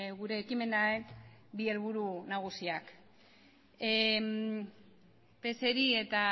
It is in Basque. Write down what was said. gure ekimenaren bi helburu nagusiak pseri eta